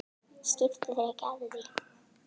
Skiptu þér ekki af því.